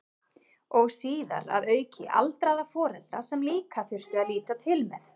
Og síðar að auki aldraða foreldra sem líka þurfti að líta til með.